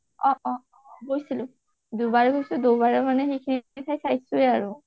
অ অ গৈছিলো দুবাৰ গৈছোঁ দুবাৰে মানে সেইখিনি ঠাই চাইছোঁ আৰু